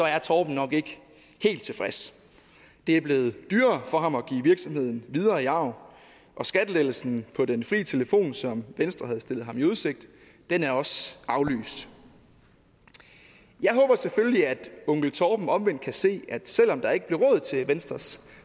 er torben nok ikke helt tilfreds det er blevet dyrere for ham at give virksomheden videre i arv og skattelettelsen på den fri telefon som venstre havde stillet ham udsigt er også aflyst jeg håber selvfølgelig at onkel torben omvendt kan se at selv om der ikke blev råd til venstres